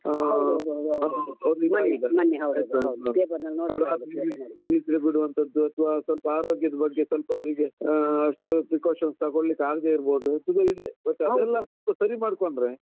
ಒಂದು ಹತ್ತು ದಿವಸ ನಿದ್ರೆ ಬಿಡುವಂತದ್ದು ಅಥವಾ ಸ್ವಲ್ಪ ಆರೋಗ್ಯದ್ದ್ ಬಗ್ಗೆ ಸ್ವಲ್ಪ ಅವರಿಗೆ ಆಹ್ precautions ತಗೊಳ್ಲಿಕ್ಕೆ ಆಗ್ದೆ ಇರ್ಬಹುದು. ಈದು ಹೀಗೆ ಇದು ಎಲ್ಲ ಸರಿ ಮಾಡ್ಕೊಂಡ್ರೆ.